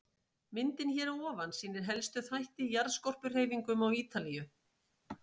Myndin hér að ofan sýnir helstu þætti í jarðskorpuhreyfingum á Ítalíu.